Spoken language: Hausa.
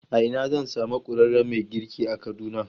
A ina zan samu ƙwararren mai girki a Kaduna?